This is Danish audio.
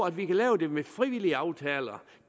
at vi kan lave det med frivillige aftaler